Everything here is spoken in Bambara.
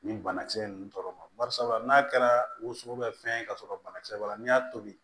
Nin banakisɛ ninnu tɔɔrɔ ma barisabula n'a kɛra woso bɛ fɛn ye ka sɔrɔ banakisɛ b'a la n'i y'a tobi